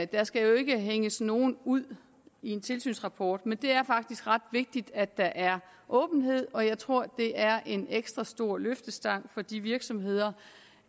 der skal ikke hænges nogen ud i en tilsynsrapport men det er faktisk ret vigtigt at der er åbenhed og jeg tror det er en ekstra store løftestang for de virksomheder